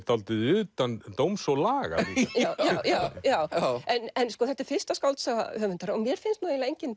dálítið utan dóms og laga líka já en sko þetta er fyrsta skáldsaga höfundar og mér finnst nú eiginlega engin